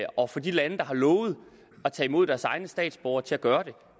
og få de lande der har lovet at tage imod deres egne statsborgere til at gøre det